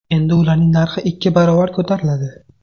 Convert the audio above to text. Endi ularning narxi ikki barobar ko‘tariladi.